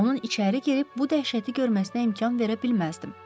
Onun içəri girib bu dəhşəti görməsinə imkan verə bilməzdim.